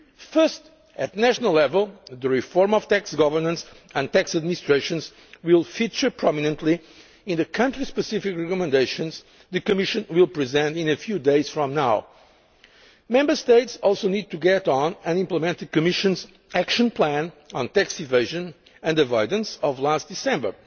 First, at national level, the reform of tax governance and tax administrations will feature prominently in the country specific recommendations the Commission will present a few days from now. Member States also need to get on and implement the Commission's Action Plan on tax evasion and avoidance of last